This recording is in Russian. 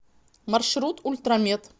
маршрут ультрамед